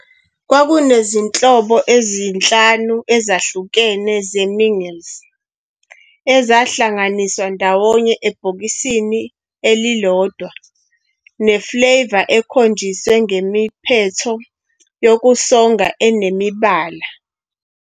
Kwakunezinhlobo ezi-5 ezahlukahlukene zeMingles, ezahlanganiswa ndawonye ebhokisini elilodwa ne-flavour ekhonjiswe ngemiphetho yokusonga enemibala-